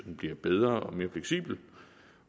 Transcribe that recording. den bliver bedre og mere fleksibel